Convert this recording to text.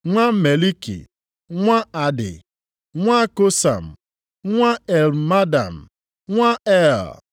nwa Meliki, nwa Adi, nwa Kosam, nwa Elmadam, nwa Er,